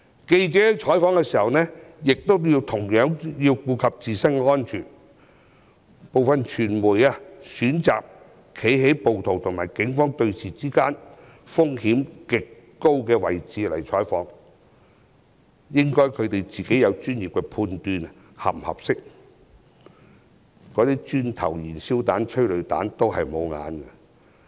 記者採訪時同樣應顧及自身安全，部分傳媒選擇在暴徒與警方對峙時在風險極高的位置採訪，他們應專業地判斷這是否適當，因為磚頭、燃燒彈、催淚彈都沒長眼睛。